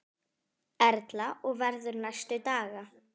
Erla: Og verður næstu daga?